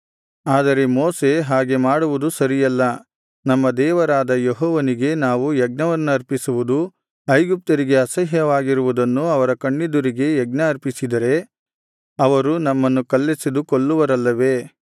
ಆದರೆ ಮೋಶೆ ಹಾಗೆ ಮಾಡುವುದು ಸರಿಯಲ್ಲ ನಮ್ಮ ದೇವರಾದ ಯೆಹೋವನಿಗೆ ನಾವು ಯಜ್ಞವನ್ನರ್ಪಿಸುವುದು ಐಗುಪ್ತ್ಯರಿಗೆ ಅಸಹ್ಯವಾಗಿದೆ ಐಗುಪ್ತ್ಯರಿಗೆ ಅಸಹ್ಯವಾಗಿರುವುದನ್ನು ಅವರ ಕಣ್ಣೆದುರಿಗೆ ಯಜ್ಞ ಅರ್ಪಿಸಿದರೆ ಅವರು ನಮ್ಮನ್ನು ಕಲ್ಲೆಸೆದು ಕೊಲ್ಲುವರಲ್ಲವೇ